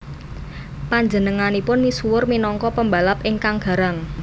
Panjenenganipun misuwur minangka pembalap ingkang garang